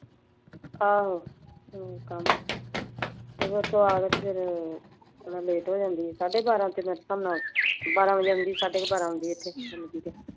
ਆਹੋ ਜਦੋ ਇੱਥੇ ਆਉਂਦੀ ਤਾਂ ਫੇਰ late ਹੋ ਜਾਂਦੀ ਏ। ਸਾਡੇ ਬਾਰਾਂ, ਮੇਰੇ ਹਿਸਾਬ ਨਾਲ ਬਾਰਾਂ ਵਜੇ ਆਉਂਦੀ ਸਾਡੇ ਬਾਰਹ ਬਜੇ ਇੱਥੇ ਡਿਊਟੀ ਤੇ।